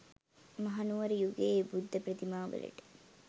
මහනුවර යුගයේ බුද්ධ ප්‍රතිමා වලට